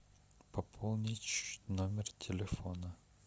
пополнить номер телефона